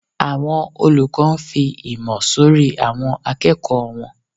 Àwọn olùkọ ǹ fí ìmọ̀ sorí awọn àkẹ́kò wọn.